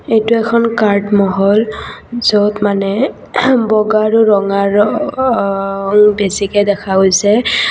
এইটো এখন কাৰ্ড মহল য'ত মানে বগা আৰু ৰঙা ৰ-অহ-অং বেছিকে দেখা গৈছে।